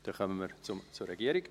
Dann kommen wir zur Regierung.